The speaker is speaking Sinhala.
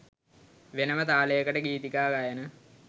වෙනම තාලයකට ගීතිකා ගයන